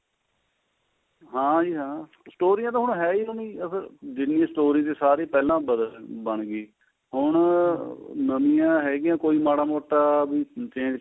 ਹਾਂਜੀ ਹਾਂ ਸਟੋਰੀਆਂ ਤਾਂ ਹੁਣ ਹੈ ਓ ਨੀ ਜਿੰਨੀ story ਸੀ ਸਾਰੀ ਪਹਿਲਾਂ ਬਣ ਗਈ ਹੁਣ ਨਵੀਆਂ ਹੈਗੀਆਂ ਕੋਈ ਮਾੜਾ ਮੋਟਾ ਵੀ change